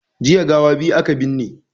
Jiya gawa biyu aka binne